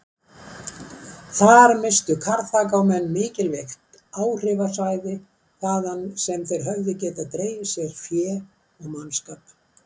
Þar misstu Karþagómenn mikilvægt áhrifasvæði þaðan sem þeir höfðu getað dregið fé og mannskap.